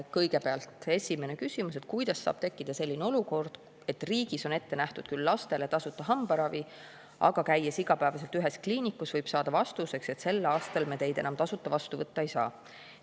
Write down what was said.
Kõigepealt esimene küsimus: "Kuidas saab tekkida selline olukord, et riigis on ette nähtud küll lastele tasuta hambaravi, aga käies igapäevaselt ühes kliinikus, võib saada vastuseks, et sel aastal me teid enam tasuta vastu võtta ei saa?